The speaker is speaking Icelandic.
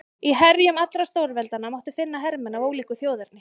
Í herjum allra stórveldanna mátti því finna hermenn af ólíku þjóðerni.